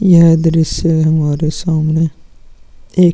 यह दृश्य हमारे सामने एक--